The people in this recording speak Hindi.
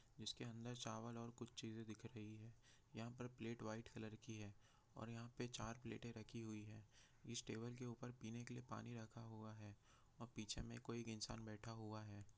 इसके अन्दर चावल और कुछ चीज़ दिख रही है यहाँ पर प्लेट वाइ कलर की है और यहाँ पे चार प्लेट रखी हुई है इस टेबल के ऊपर पानी रखा हुआ है और पीछे कोई इंसान बैठा हुआ है।